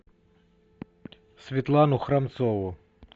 светлану храмцову